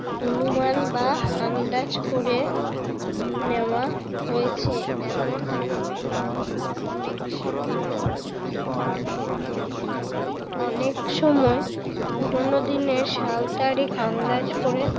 অনুমান বা আন্দাজ করে নেওয়া হয়েছে এমন অনেক সঙ্গে অনেক সময় পুরোনো দিনের সাল তারিখ আন্দাজ করে